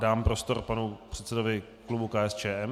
Dám prostor panu předsedovi klubu KSČM.